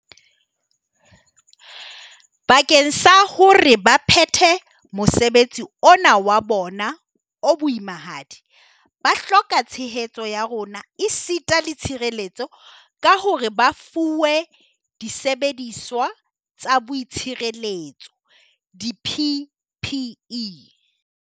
Bakeng sa hore ba phethe mosebetsi ona wa bona o boimahadi, ba hloka tshehetso ya rona esita le tshireletso ka hore ba fuwe disebediswa tsa boitshireletso, di-PPE,